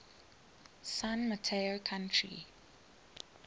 san mateo county